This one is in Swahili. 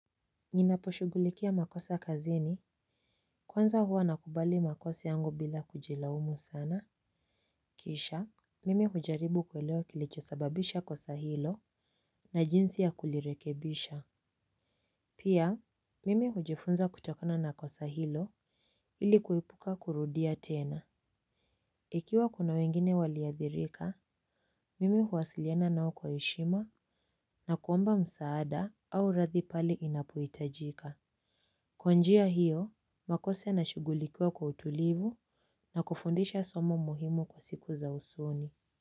Ninaposhugulikia makosa kazini, kwanza huwa nakubali makosa yangu bila kujilaumu sana. Kisha, mimi hujaribu kueleo kilichosababisha kosa hilo, na jinsi ya kulirekebisha. Pia, mimi hujifunza kutakona na kosa hilo, ilikuepuka kurudia tena. Ikiwa kuna wengine waliadhirika, mimi huwasiliena nao kwa eshima, na kuomba msaada au rathi pali inapoitajika. Kwa njia hiyo, makosa inashugulikua kwa utulivu na kufundisha somo muhimu kwa siku za usoni.